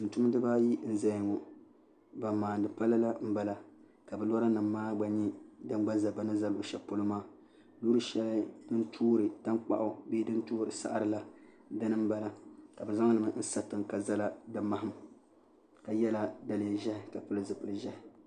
tumtumdiba ayi n ʒɛya ŋo ban maandi pala la n bala ka bi loori maa nyɛ din gba ʒɛ bi ni ʒɛ luɣu shɛli polo maa loori shɛli din toori tankpaɣu bee din toori saɣari la dini n bala ka bi zaŋli n sa tiŋ ka ʒɛla di maham ka yɛla daliya ʒiɛhi ka pili zipili ʒiɛhi